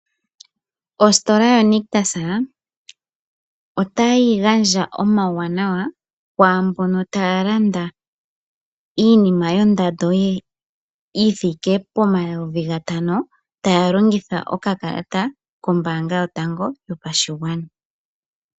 Ostola ya nictus ota yi gandja omawu wanawa, kwaambono taya landa iinima yondando yithike po N$5000 taya longitha oka kalata kombaanga yotango yopashigwana.